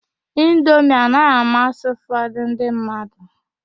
Indomi anaghị amasị ụfọdụ ndị mmadụ..